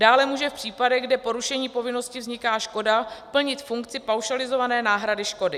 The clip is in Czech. Dále může v případech, kde porušením povinnosti vzniká škoda, plnit funkci paušalizované náhrady škody.